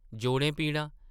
‘‘जोड़ें पीड़ां ?’’